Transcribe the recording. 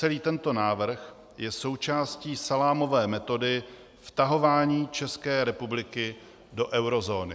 Celý tento návrh je součástí salámové metody vtahování České republiky do eurozóny.